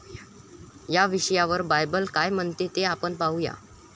याविषयावर बायबल काय म्हणते ते आपण पाहू या.